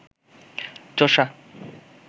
চোষা